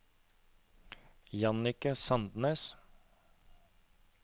Jannicke Sandnes